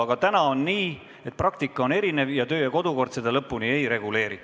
Aga täna on nii, et praktika on erinev ning kodu- ja töökorra seadus seda lõpuni ei reguleeri.